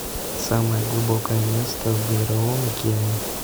самое глубокое место в мировом океане